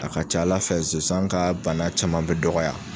A ka ca ala fɛ zonsan ka bana caman be dɔgɔya